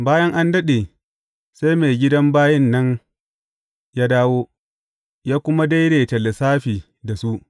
Bayan an daɗe, sai maigidan bayin nan ya dawo, ya kuma daidaita lissafi da su.